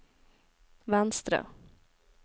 venstre